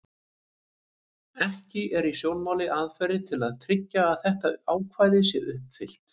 Ekki eru í sjónmáli aðferðir til að tryggja að þetta ákvæði sé uppfyllt.